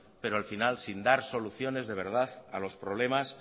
pero al final sin dar soluciones de verdad a los problemas